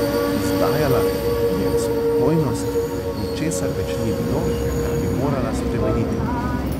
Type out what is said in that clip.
Izdajala je spokojnost, ničesar več ni bilo, kar bi morala spremeniti.